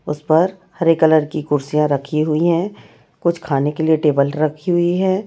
उस पर हरे कलर की कुर्सियां रखी हुई है कुछ खाने के लिए टेबल रखी हुई है।